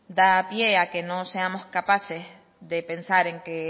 da pie a que no seamos capaces de pensar en que